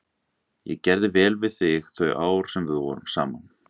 Ég gerði vel við þig þau ár sem við vorum saman.